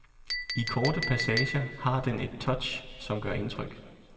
I korte passager har den et touch som gør indtryk.